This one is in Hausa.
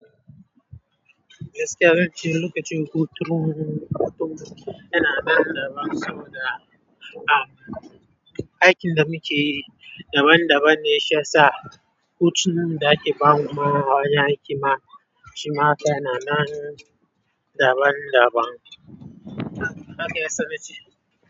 Gaskiya zance lokacin hutu yana nan daban saboda, ah, aikin da muke daban daban ne shi ya sa hutunan da ake bamu a wajen aiki ma shi ma yana nan daban daban. Haka ya sana ce.